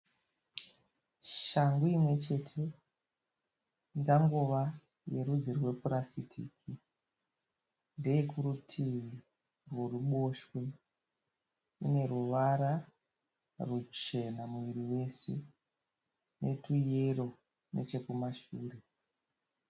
Shangu imwechete ingangova yerudzi rwepurasitiki. Ndeyekurutivi rweruboshwe. Ineruvara ruchena muviri wese netuyero nechekumashure.